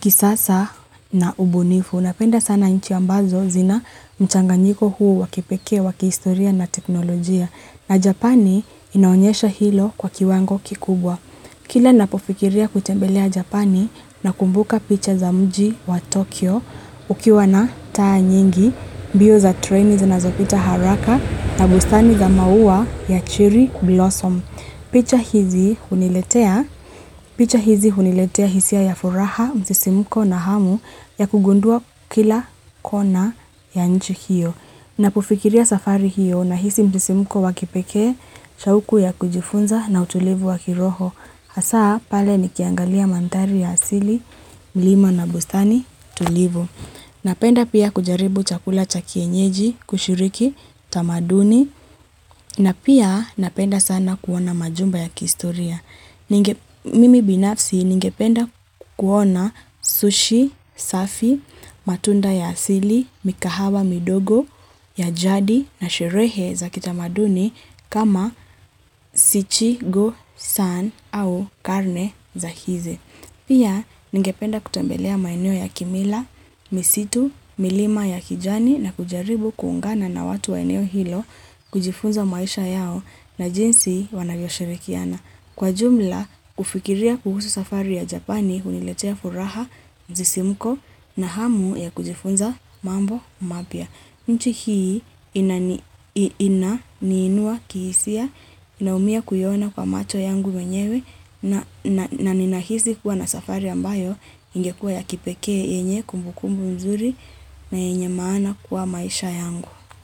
kisasa na ubunifu. Unapenda sana inchi ambazo zina mchanganyiko huu wakipekea, wakiistoria na teknolojia. Na Japani inaonyesha hilo kwa kiwango kikubwa. Kila napofikiria kutembelea Japani na kumbuka picha za mji wa Tokyo ukiwa na taa nyingi, bio za trainees na zopita haraka na busani za maua ya chiri kublosom. Picha hizi huniletea hisia ya furaha, msisimko na hamu ya kugundua kila kona ya nchi hiyo. Napofikiria safari hiyo na hisi msisimko wa kipekee, shauku ya kujifunza na utulivu waki roho. Hasa pale ni kiangalia manthari ya asili, lima na bustani, tulivu. Napenda pia kujaribu chakula chakienyeji, kushuriki, tamaduni. Na pia napenda sana kuona majumba ya kistoria. Mimi binafsi ningependa kuona sushi, safi, matunda ya asili, mikahawa, midogo, ya jadi, na sherehe za kita maduni kama sichi, go, san, au karne za hizi. Pia, ningependa kutembelea maeneo ya kimila, misitu, milima ya kijani na kujaribu kuungana na watu wa eneo hilo kujifunza maisha yao na jinsi wanavyoshirikiana. Kwa jumla, kufikiria kuhusu safari ya Japani huniletea furaha msisimuko na hamu ya kujifunza mambo mapya. Mtu hii ina, niinua, kihisia, inaumia kuyona kwa macho yangu menyewe na ninahisi kuwa na safari ambayo ingekua ya kipekee yenye kumbukumbu mzuri na yenye maana kwa maisha yangu.